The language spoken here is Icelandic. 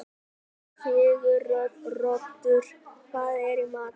Siguroddur, hvað er í matinn?